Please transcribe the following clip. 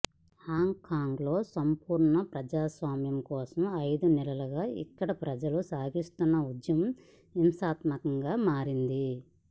హాంకాంగ్లో సంపూర్ణ ప్రజాస్వామ్యం కోసం ఐదు నెలలుగా ఇక్కడి ప్రజలు సాగిస్తున్న ఉద్యమం హింసాత్మకంగా మారింది